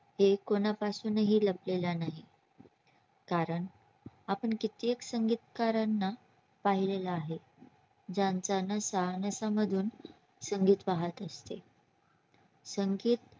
ते कोणा पासून ही लपलेला नाही कारण आपण कित्येक संगीतकारांना पाहिलेल आहे, ज्यांचा नसा नसामधून संगीत वाहात असते संगीत